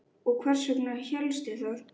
Og hvers vegna hélstu það?